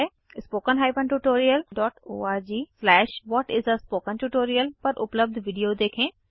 httpspoken tutorialorg What is a Spoken Tutorial पर उपलब्ध video देखें